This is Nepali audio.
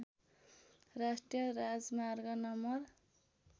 राष्ट्रिय राजमार्ग नम्बर